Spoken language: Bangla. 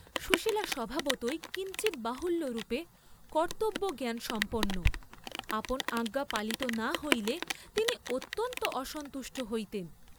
সুশীলা স্বভাবতই কিঞ্চিৎ বাহুল্যরূপে কর্ত্তব্যজ্ঞান সম্পন্ন, আপন আজ্ঞা পালিত না হইলে তিনি অত্যন্ত অসন্তুষ্ট হইতেন।